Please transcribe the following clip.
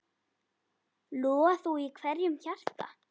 Loga þú í hverju hjarta.